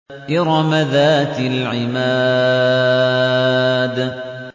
إِرَمَ ذَاتِ الْعِمَادِ